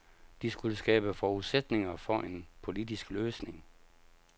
De skulle skabe forudsætninger for en politisk løsning.